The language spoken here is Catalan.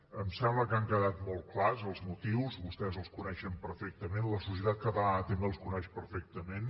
em sembla que han quedat molt clars els motius vostès els coneixen perfectament la societat catalana també els coneix per fectament